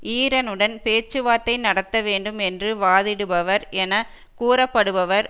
ஈரனுடன் பேச்சுவார்த்தை நடத்த வேண்டும் என்று வாதிடுபவர் என கூறப்படுபவர்